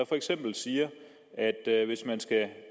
for eksempel siger at hvis man skal